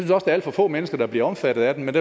der er alt for få mennesker der bliver omfattet af den men